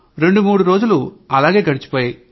రెండు మూడు రోజులు అట్లాగే గడిచిపోయాయి